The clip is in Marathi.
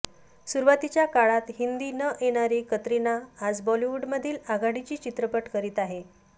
सुरुवातीच्या काळात हिंदी न येणारी कतरिना आज बॉलिवूडमधील आघाडीचे चित्रपट करत आहे